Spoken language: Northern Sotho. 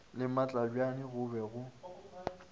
le matlebjane go be go